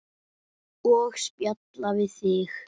Og spjalla við þig.